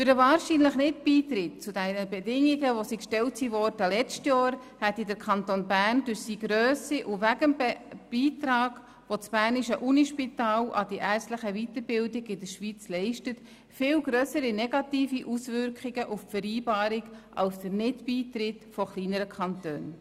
Der wahrscheinliche Nicht-Beitritt zu den Bedingungen, die im letzten Jahr gestellt worden waren, hätte durch die Grösse des Kantons Bern und wegen dem Beitrag, den das Berner Universitätsspital an die ärztliche Weiterbildung in der Schweiz leistet, viel grössere negative Auswirkungen auf die Vereinbarung als der Nicht-Beitritt von kleineren Kantonen.